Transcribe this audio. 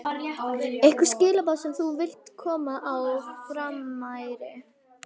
Einhver skilaboð sem þú vilt koma á framfæri?